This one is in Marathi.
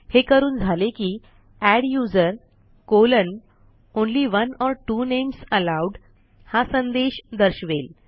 हे करून झाले की adduseronly one or two names allowed हा संदेश दर्शवेल